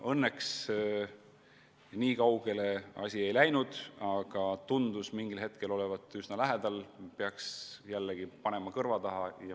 Õnneks nii kaugele asi ei läinud, aga mingil hetkel tundus see olevat üsna lähedal.